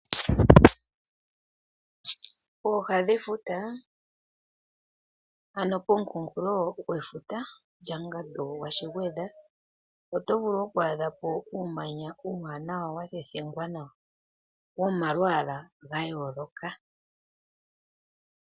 Pooha dhefuta ano pomukunkulo gwefuta lyo mungandu gwashigwedha oto vulu oku adhapo uumanya uuwanawa wathethengwa nawa wo malwaala ga yooloka.